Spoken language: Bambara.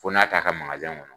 Fɔ n'a t''a ka magazɛn kɔnɔ